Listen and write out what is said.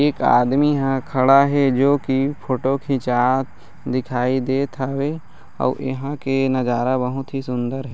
एक आदमी यहाँ खड़ा हे जो की फोटो खिचात दिखाई देत हवे आऊ इहा के नजारा बहुत ही सुंदर हे।